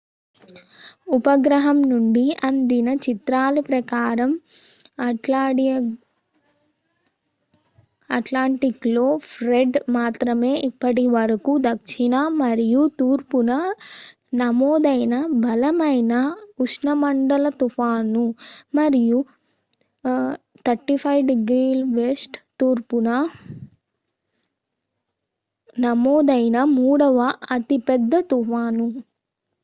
ఉపగ్రహం నుండి అందిన చిత్రాల ప్రకారం అట్లాంటిక్‌లో ఫ్రెడ్ మాత్రమే ఇప్పటివరకు దక్షిణ మరియు తూర్పున నమోదైన బలమైన ఉష్ణమండల తుఫాను మరియు 35°w తూర్పున నమోదైన మూడవ అతి పెద్ద తుఫాను